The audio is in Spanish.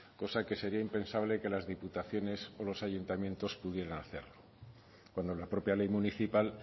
cosa que sería impensable que las diputaciones o los ayuntamientos pudieran hacerlo cuando la propia ley municipal